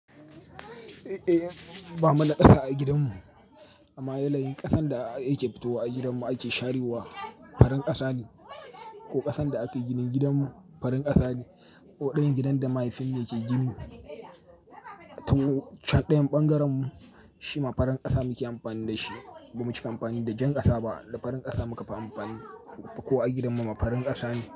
Eh, ba mana ƙasa a gidanmu amma yallai ƙasan da ake fito wa a gidanmu ake share wa farin ƙasa ne ko ƙasan da aka ginin gidanmu farin ƙasa ne ko ɗayan gidan da mahaifinmubya ke gini. To can ɗayan ɓangaren mu shi ma farin ƙasa muke amfani da shi ba mu cika amfani da jan ƙasa ba da farin ƙasa muka fi amfani ko a gidan mu ma farin ƙasa ne.